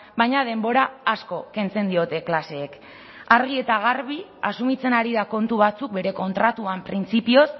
baina denbora asko kentzen diote klaseek argi eta garbi asumitzen ari da kontu batzuk bere kontratuan printzipioz